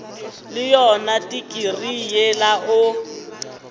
le yona tikirii yela o